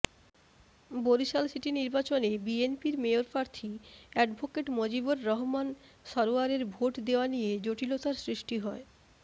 Barishal city নির্বাচনে বিএনপির মেয়রপ্রার্থী অ্যাডভোকেট মজিবর রহমান সরোয়ারের ভোট দেয়া নিয়ে জটিলতার সৃষ্টি হয়